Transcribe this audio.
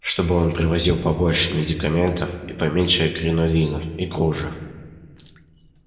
чтобы он привозил побольше медикаментов и поменьше кринолинов и кружев